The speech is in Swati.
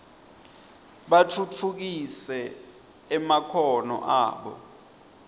batfutfukise emakhono abo